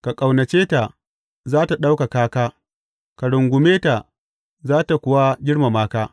Ka ƙaunace ta, za tă ɗaukaka ka; ka rungume ta, za tă kuwa girmama ka.